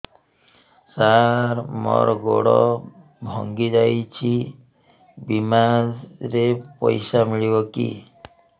ସାର ମର ଗୋଡ ଭଙ୍ଗି ଯାଇ ଛି ବିମାରେ ପଇସା ମିଳିବ କି